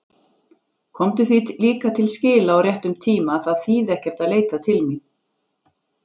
Komdu því líka til skila á réttum tíma að það þýði ekkert að leita mín.